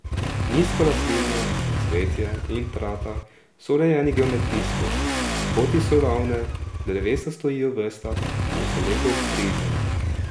Nizko rastlinje, cvetje in trata so urejeni geometrijsko, poti so ravne, drevesa stojijo v vrstah in so lepo obstrižena.